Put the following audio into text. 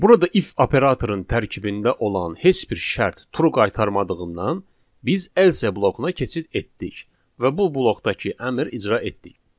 Burada if operatorun tərkibində olan heç bir şərt true qaytarmadığından, biz else blokuna keçid etdik və bu blokdakı əmr icra etdik.